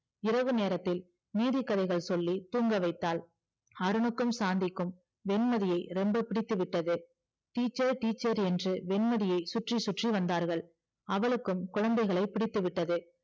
இரவு நேரத்தில் நீதி கதைகள் சொல்லி தூங்க வைத்தால் அருணுக்கும் சாந்திக்கும் வெண்மதியை ரொம்ப பிடித்துவிட்டது teacher teacher என்று வெண்மதியை சுற்றி சுற்றி வந்தார்கள் அவளுக்கும் குழந்தைகளை பிடித்துவிட்டது